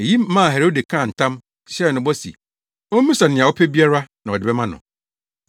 Eyi maa Herode kaa ntam, hyɛɛ no bɔ se ommisa nea ɔpɛ biara na ɔde bɛma no.